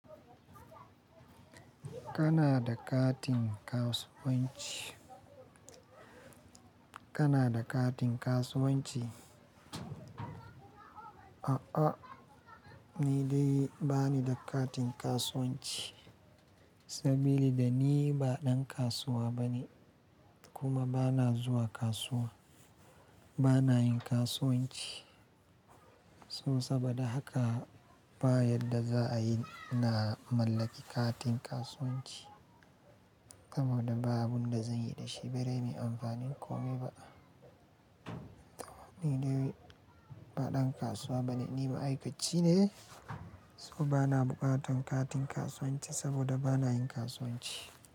Kana da katin kasuwanci? Kana da katin kasuwanci? A'a, ni dai ba ni da katin kasuwanci saboda ni ba ɗan kasuwa bane, kuma ba na zuwa kasuwa. Ba na yin kasuwanci, so saboda haka ba yadda za a yi na mallaki katin kasuwanci saboda ba abunda zan yi da shi, bare min amfanin kome ba. To ni dai ba ɗan kasuwa bane, ni ma'aikaci ne, so ba na buƙatan katin kasuwanci saboda ba na yin kasuwanci.